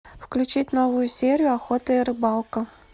включить новую серию охота и рыбалка